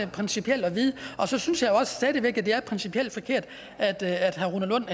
principielt at vide så synes jeg også stadig væk at det er principielt forkert at at herre rune lund